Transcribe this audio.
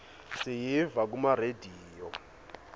siyiva kuma rediyo